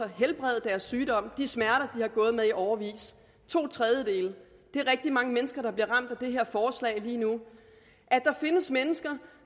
helbrede deres sygdom og fjerne de smerter de har gået med i årevis to tredjedele det er rigtig mange mennesker der bliver ramt af det her forslag lige nu at der findes mennesker